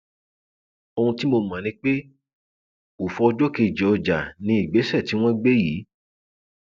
ohun tí mo mọ ni pé ọfọ ọjọ kejì ọjà ni ìgbésẹ tí wọn gbé yìí